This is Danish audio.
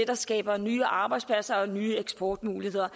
der skaber nye arbejdspladser og nye eksportmuligheder